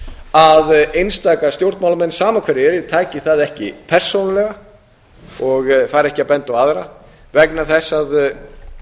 að einstaka stjórnmálamenn sama hverjir það eru taki það ekki persónulega og fari ekki að benda á aðra vegna þess að